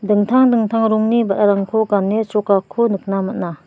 dingtang dingtang rongni ba·rarangko gane chrokako nikna man·a.